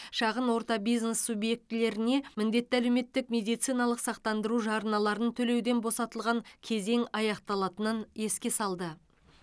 шағын орта бизнес субъектілеріне міндетті әлеуметтік медициналық сақтандыру жарналарын төлеуден босатылған кезең аяқталатынын еске салды